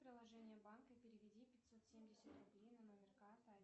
приложение банка и переведи пятьсот семьдесят рублей на номер карты